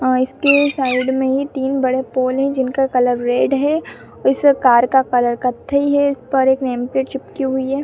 अ इसके साइड में ही तीन बड़े पोल है जिनका कलर रेड है। इस कार का कलर कथई है। इसपर एक नेम प्लेट चिपकी हुई है।